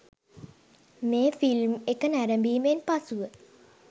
මේ ෆිල්ම් එක නැරඹීමෙන් පසුව